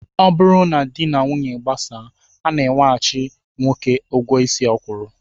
Ọ bụrụ na di na nwaanyị gbasaa, a na-enyeghachị nwoke ụgwọ isi ọ kwụrụ